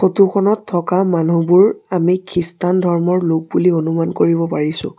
Photo খনত থকা মানুহবোৰ আমি খ্ৰীষ্টান ধৰ্মৰ লোক বুলি অনুমান কৰিব পাৰিছোঁ।